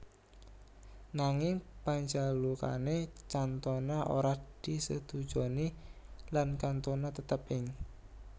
Nanging panjalukane Cantona ora disetujoni lan Cantona tetep ing